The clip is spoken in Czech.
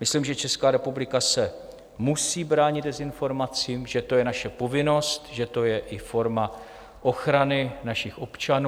Myslím, že Česká republika se musí bránit dezinformacím, že to je naše povinnost, že to je i forma ochrany našich občanů.